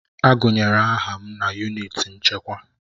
Agụnyere aha m na yunịti nchekwa.